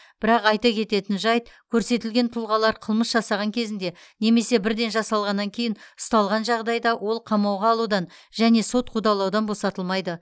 бірақ айта кететін жайт көрсетілген тұлғалар қылмыс жасаған кезінде немесе бірден жасалғаннан кейін ұсталған жағдайда ол қамауға алудан және сот қудалаудан босатылмайды